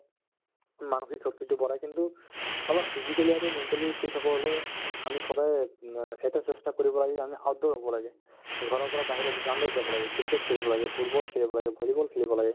মানসিক শক্তিতো বঢ়াই কিন্তু অলপ physically আৰু mentally fit হ'ব হ'লে আমি সদায় উম এটা চেষ্টা কৰিব আমি আমি outdoor হ'ব লাগে ঘৰৰ পৰা বাহিৰত ground ত যাব লাগে cricket খেলিব লাগে, football খেলিব লাগে, volleyball খেলিব লাগে